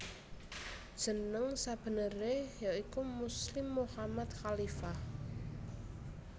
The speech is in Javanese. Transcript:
Jeneng sabeneré ya iku Muslim Mochammad Khalifah